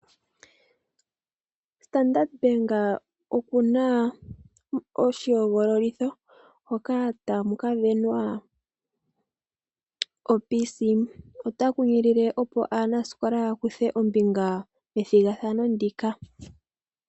Ombaanga yo Standard oyina moshihogololitho hoka tamu kasindanwa okompiyuta yokutopatopa. Ota kunkilile opo aanasikola ya kuthe ombinga methigathano ndika.